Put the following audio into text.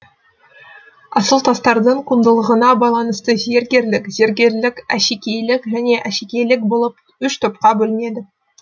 асыл тастардың құндылығына байланысты зергерлік зергерлік әшекейлік және әшекейлік болып үш топқа бөлінеді